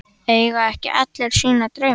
Eiga ekki allir sína drauma?